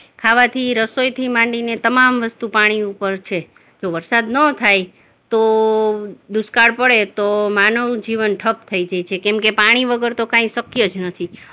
ખાવાથી, રસોઈથી માંડીને તમામ વસ્તુ પાણી ઉપર છે, જો વરસાદ નો થાય તો દુષ્કાળ પડે તો માનવનું જીવન ઠપ થઇ જાય છે કેમકે પાણી વગર તો કાઈ શક્ય જ નથી.